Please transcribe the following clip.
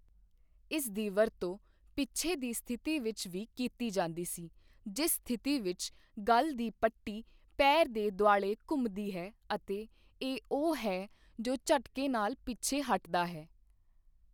ਇਸ ਦੀ ਵਰਤੋਂ ਪਿੱਛੇ ਦੀ ਸਥਿਤੀ ਵਿੱਚ ਵੀ ਕੀਤੀ ਜਾਂਦੀ ਸੀ ਜਿਸ ਸਥਿਤੀ ਵਿੱਚ ਗਲ ਦੀ ਪੱਟੀ ਪੈਰ ਦੇ ਦੁਆਲੇ ਘੁੰਮਦੀ ਹੈ ਅਤੇ ਇਹ ਉਹ ਹੈ ਜੋ ਝਟਕੇ ਨਾਲ ਪਿੱਛੇ ਹੱਟਦਾ ਹੈ।